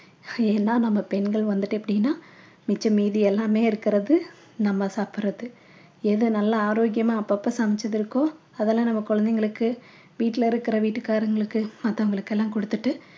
ஏன்னா நம்ம பெண்கள் வந்துட்டு எப்படின்னா மிச்சம் மீதி எல்லாமே இருக்கிறது நம்ம சாப்பிடுறது எது நல்ல ஆரோக்கியமா அப்பப்ப சமைச்சது இருக்கோ அதெல்லாம் நம்ம குழந்தைகளுக்கு வீட்டில இருக்கிற வீட்டுக்காரங்களுக்கு மத்தவங்களுக்கு எல்லாம் குடுத்துட்டு